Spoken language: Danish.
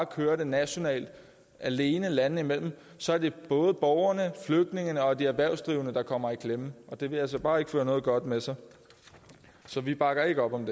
kører det nationalt alene landene imellem så er det både borgerne flygtningene og de erhvervsdrivende der kommer i klemme det vil altså bare ikke føre noget godt med sig så vi bakker ikke op om